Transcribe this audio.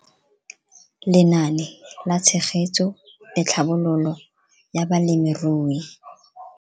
Lenaane la Tshegetso le Tlhabololo ya Balemirui.